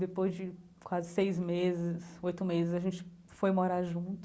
Depois de quase seis meses, oito meses, a gente foi morar junto.